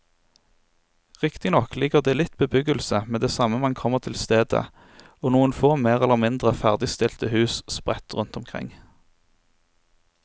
Riktignok ligger det litt bebyggelse med det samme man kommer til stedet og noen få mer eller mindre ferdigstilte hus sprett rundt omkring.